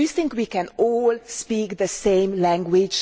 Do you think we can all speak the same language?